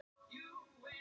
Hún gaf góð orð um það.